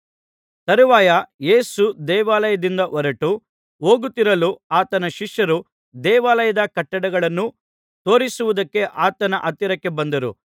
ತರುವಾಯ ಯೇಸು ದೇವಾಲಯದಿಂದ ಹೊರಟು ಹೋಗುತ್ತಿರಲು ಆತನ ಶಿಷ್ಯರು ದೇವಾಲಯದ ಕಟ್ಟಡಗಳನ್ನು ತೋರಿಸುವುದಕ್ಕೆ ಆತನ ಹತ್ತಿರಕ್ಕೆ ಬಂದರು